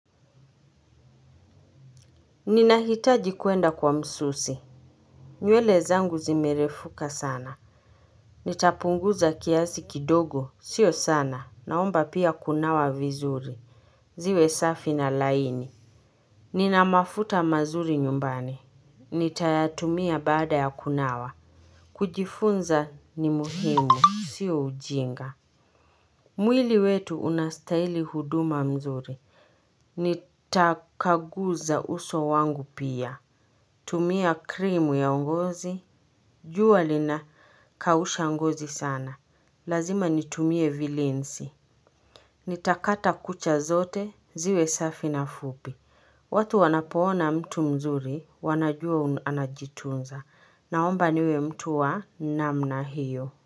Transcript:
Ninahitaji kwenda kwa msusi. Nywele zangu zimerefuka sana. Nitapunguza kiasi kidogo, sio sana, naomba pia kunawa vizuri. Ziwe safi na laini. Nina mafuta mazuri nyumbani. Nitayatumia baada ya kunawa. Kujifunza ni muhimu, sio ujinga. Mwili wetu unastahili huduma mzuri, nitakaguza uso wangu pia. Tumia krimu ya ngozi. Jua linakausha ngozi sana. Lazima nitumie vilinzi. Nitakata kucha zote ziwe safi na fupi. Watu wanapoona mtu mzuri wanajua anajitunza. Naomba niwe mtu wa namna hiyo.